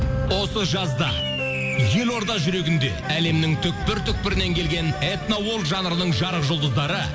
осы жазда елорда жүрегінде әлемнің түпкір түпкірінен келген этно жанрының жарық жұлдыздары